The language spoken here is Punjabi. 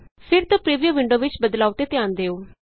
ਫਿਰ ਤੋਂ ਪਰਿਵਿਊ ਵਿੰਡੋ ਵਿਚ ਬਦਲਾਉ ਤੇ ਧਿਆਨ ਦਿਉ